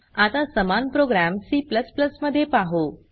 आता समान program C मध्ये पाहु